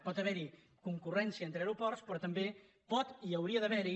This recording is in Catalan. pot haver hi concurrència entre aeroports però també pot i hauria d’haver hi